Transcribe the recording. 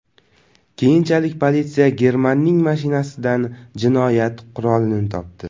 Keyinchalik politsiya Germanning mashinasidan jinoyat qurolini topdi.